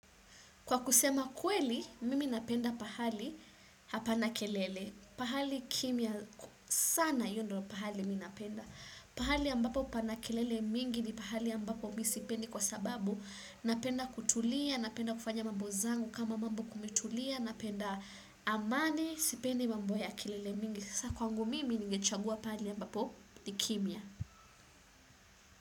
Kwa kusema kweli, mimi napenda pahali hapana kelele. Pahali kimya sana hio ndio pahali mi napenda. Pahali ambapo pana kelele mingi ni pahali ambapo mi sipendi kwa sababu. Napenda kutulia, napenda kufanya mambo zangu kama mambo kumetulia, napenda amani, sipendi mambo ya kelele mingi. Sasa kwangu mimi ningechagua pahali ambapo ni kimya.